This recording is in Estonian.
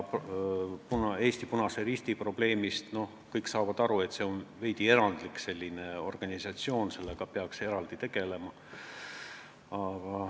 Eesti Punase Risti probleem – noh, kõik saavad aru, et see on veidi erandlik organisatsioon ja sellega peaks eraldi tegelema.